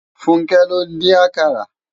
Funke ló n din àkàrá